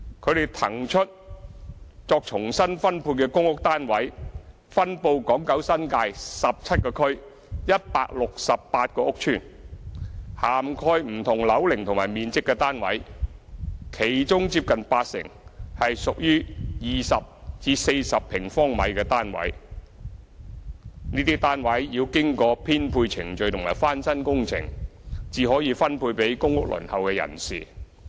他們騰出作重新分配的公屋單位分布港九新界17個區、168個屋邨，涵蓋不同樓齡和面積的單位，其中接近八成是屬於20至40平方米的單位。這些單位要經過編配程序和翻新工程，才可以分配給公屋輪候人士。